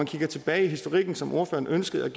kigger tilbage i historikken som ordføreren ønskede at